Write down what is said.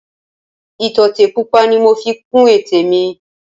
Ìtọ́tè pupa ni mo fi kun ètè mi